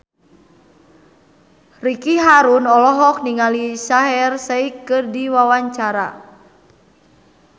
Ricky Harun olohok ningali Shaheer Sheikh keur diwawancara